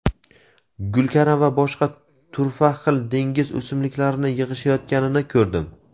gulkaram va boshqa turfa xil dengiz o‘simliklarini yig‘ishayotganini ko‘rdim.